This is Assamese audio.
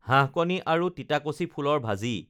হাঁহকণী আৰু তিতাকচি ফুলৰ ভাজি